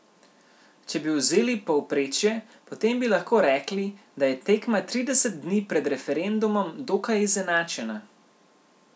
Če bi vzeli povprečje, potem bi lahko rekli, da je tekma trideset dni pred referendumom dokaj izenačena.